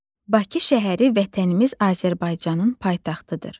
Bakı şəhəri Vətənimiz Azərbaycanın paytaxtıdır.